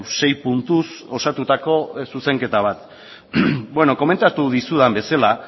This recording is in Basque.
sei puntuz osatutako zuzenketa bat komentatu dizudan bezala